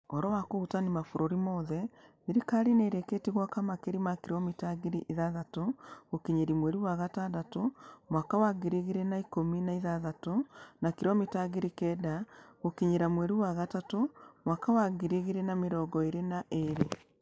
Ũhoro wa kũhutania mabũrũri mothe, thirikari nĩ ĩrĩkĩtie gwaka makĩria ma kilomita ngiri ithathatũ gũkinyĩria mweri wa gatandatũ mwaka wa ngiri igĩrĩ na ikũmi na ithathatũ na kilomita ngiri kenda gũkinyĩria mweri wa gatatũ mwaka wa ngiri igĩrĩ na mĩrongo ĩĩrĩ na ĩĩrĩ.